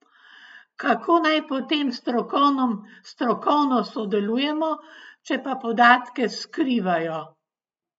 Kako naj potem strokovno sodelujemo, če pa podatke skrivajo?